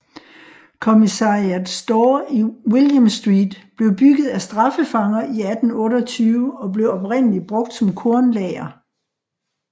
Commissariat Store i William Street blev bygget af straffefanger i 1828 og blev oprindeligt brugt som kornlager